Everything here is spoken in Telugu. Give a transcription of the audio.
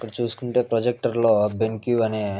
ఇక్కడ చూసుకుంటే ప్రొజెక్టర్ లో బెండ్ బేండ్కు అనే --